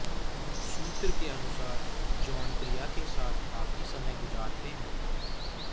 सूत्र के अनुसार जॉन प्रिया के साथ काफी समय गुजारते हैं